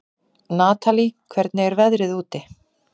Natalí, hvernig er veðrið úti?